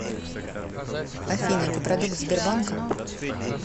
афина ты продукт сбербанка